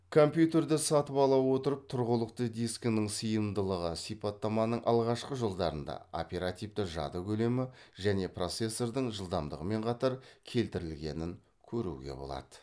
компьютерді сатып ала отырып тұрғылықты дискінің сыйымдылығы сипаттаманың алғашқы жолдарында келтірілгенін көруне болады